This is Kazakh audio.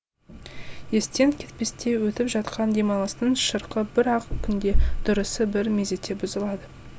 естен кетпестей өтіп жатқан демалыстың шырқы бір ақ күнде дұрысы бір мезетте бұзылады